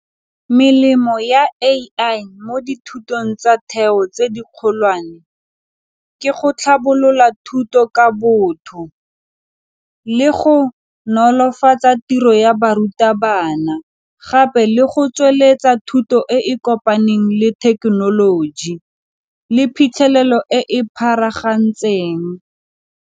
Melemo ya A_I mo dithutong tsa theo tse dikgolwane ke go tlhabolola thuto ka botho le go nolofatsa tiro ya barutabana, gape le go tsweletsa thuto e e kopaneng le thekenoloji le phitlhelelo e e .